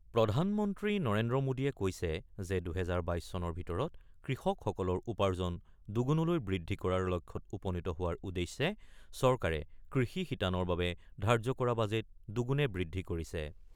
প্ৰধানমন্ত্ৰী নৰেন্দ্ৰ মোদীয়ে কৈছে যে ২০২২ চনৰ ভিতৰত কৃষকসকলৰ উপাৰ্জন দুগুণলৈ বৃদ্ধি কৰাৰ লক্ষ্যত উপনীত হোৱাৰ উদ্দেশ্যে চৰকাৰে কৃষি শিতানৰ বাবে ধাৰ্য্য কৰা বাজেট দুগুণে বৃদ্ধি কৰিছে ।